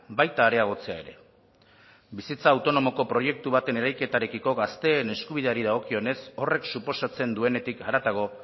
baita areagotzea ere bizitza autonomoko proiektu baten eraiketarekiko gazteen eskubideari dagokionez horrek suposatzen duenetik haratago